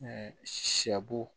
sɛ bo